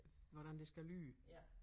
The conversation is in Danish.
Hvordan det skal lyde